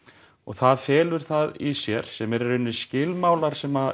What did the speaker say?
og það felur það í sér sem eru í rauninni skilmálar sem